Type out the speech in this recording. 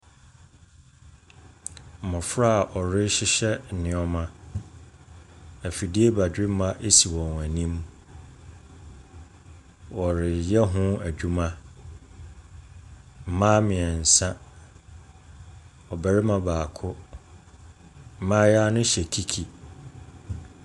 Mmɔfra a wɔrehyehyɛ nneɛma. Afidie badwemma si wɔn anim. Wɔreyɛ ho adwuma. Mmaa mmeɛnsa , ɔbarima baako. Mmayewa no hyɛ kiki.